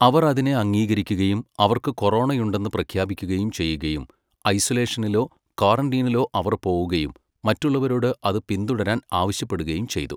അവർ അതിനെ അംഗീകരിക്കുകയും അവർക്ക് കൊറോണയുണ്ടെന്ന് പ്രഖ്യാപിക്കുകയും ചെയ്യുകയും, ഐസലോഷനിലോ, ക്വാറന്റീനിലോ അവർ പോകുകയും മറ്റുള്ളവരോട് അത് പിന്തുടരാൻ ആവശ്യപ്പെടുകയും ചെയ്തു.